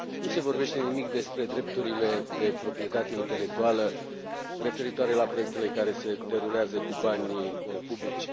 Nu se vorbește nimic despre drepturile de proprietate intelectuală referitoare la proiectele care se derulează cu banii publici.